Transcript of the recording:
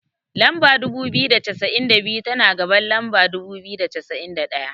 Lamba dubu biyu da cassa'in da biyu, tana gaban lamba dubu biyu da cassa'in da ɗaya.